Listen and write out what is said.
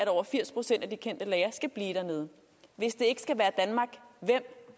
over firs procent af de kendte lagre skal blive dernede hvis det ikke